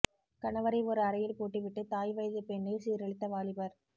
கணவரை ஒரு அறையில் பூட்டிவிட்டு தாய் வயது பெண்ணை சீரழித்த வாலிபர்